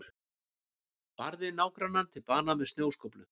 Barði nágrannann til bana með snjóskóflu